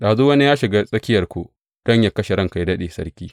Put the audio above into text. Ɗazu wani ya shiga tsakiyarku don yă kashe ranka yă daɗe, sarki.